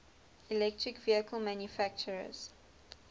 electric vehicle manufacturers